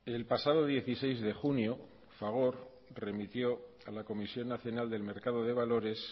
el pasado dieciséis de junio fagor remitió a la comisión nacional del mercado de valores